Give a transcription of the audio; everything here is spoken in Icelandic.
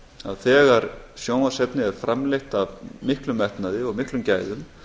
að þegar sjónvarpsefni er framleitt af miklum metnaði og miklum gæðum